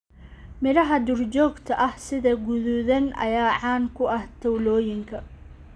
Miraha duurjoogta ah sida guduudan ayaa caan ku ah tuulooyinka.